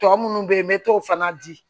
Tɔ minnu bɛ yen n bɛ t'o fana di